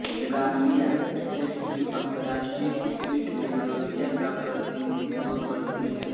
Gambia cricket team अंतरराष्ट्रीय cricket में Gambia का प्रतिनिधित्व करती है